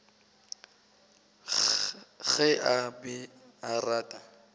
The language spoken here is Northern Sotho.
ge a be a rata